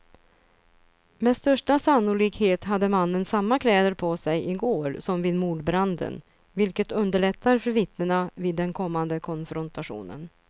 Med största sannolikhet hade mannen samma kläder på sig i går som vid mordbranden, vilket underlättar för vittnena vid den kommande konfrontationen.